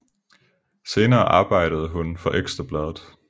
Senere arbejdede hun for Ekstra Bladet